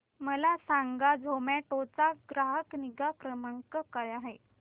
मला सांगा झोमॅटो चा ग्राहक निगा क्रमांक काय आहे